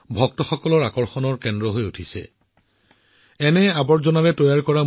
অৰ্থাৎ এই মূৰ্তিবোৰ পুৰণি বস্তুৰ পৰা তৈয়াৰ কৰা হৈছে যিবোৰ ব্যৱহাৰ কৰি জাংকত পেলাই দিয়া হৈছিল